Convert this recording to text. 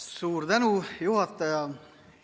Suur tänu, juhataja!